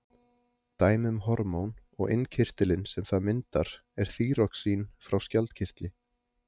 dæmi um hormón og innkirtilinn sem það myndar er þýroxín frá skjaldkirtli